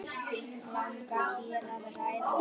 Langar þér að ræða það?